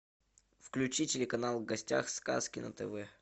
включи телеканал в гостях сказки на тв